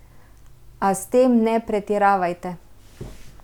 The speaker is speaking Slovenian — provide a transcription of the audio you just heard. A s tem ne pretiravajte.